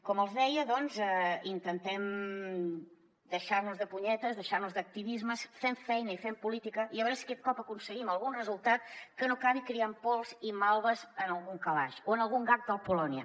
com els deia doncs intentem deixar nos de punyetes deixar nos d’activismes fem feina i fem política i a veure si aquest cop aconseguim algun resultat que no acabi criant pols i malves en algun calaix o en algun gag del polònia